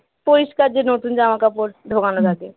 পরিষ্কার যে নতুন জামাকাপড় ঢোকান থাকে